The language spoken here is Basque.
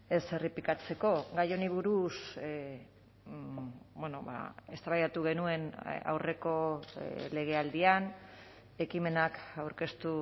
ez errepikatzeko gai honi buruz eztabaidatu genuen aurreko legealdian ekimenak aurkeztu